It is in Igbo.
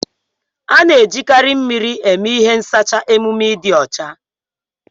A na ejikarị mmiri eme ihe n sacha emume dị ọcha.